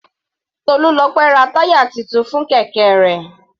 Tolulope ra táyà titun fún kẹ̀kẹ́ rẹ̀.